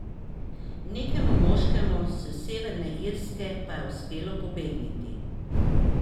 Nekemu moškemu s Severne Irske pa je uspelo pobegniti.